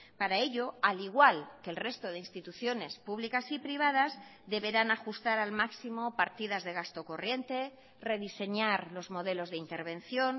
para ello al igual que el resto de instituciones públicas y privadas deberán ajustar al máximo partidas de gasto corriente rediseñar los modelos de intervención